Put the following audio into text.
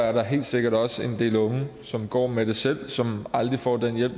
er der helt sikkert også en del unge som går med det selv og som aldrig får den hjælp